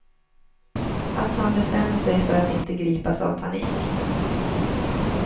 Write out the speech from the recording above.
Att han bestämde sig för att inte gripas av panik.